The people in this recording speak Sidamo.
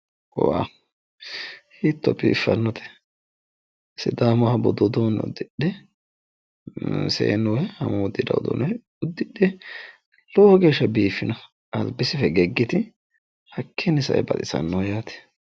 wow hiitto biiffannote sidaamunniha budu uduunne uddidhe seennu amuwu uddiranno uduunne uddidhe lowo geeshsha biiffino albise fegeggi yite albise hakkiinni sae baxisannoho yaate.